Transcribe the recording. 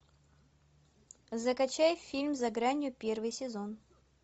закачай фильм за гранью первый сезон